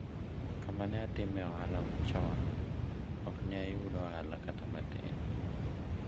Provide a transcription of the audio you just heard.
kama ne atimoe ohala chon ok ne ayud ohala kata matin